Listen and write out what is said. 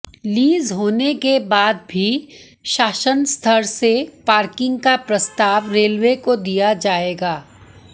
lease होने के बाद ही शासन स्तर से पार्किंग का प्रस्ताव रेलवे को दिया जाएगा